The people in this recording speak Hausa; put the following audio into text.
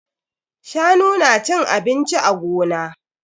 Shanu na cin abinci a gona.